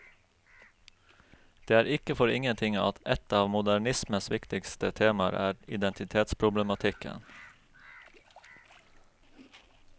Det er ikke for ingenting at et av modernismens viktigste temaer er identitetsproblematikken.